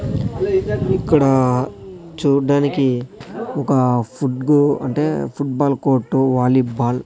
ఇక్కడ చూడడానికి ఒక ఫుడ్ గో అంటే ఫూట్ బాల్ కోర్టు వాలీబాల్ .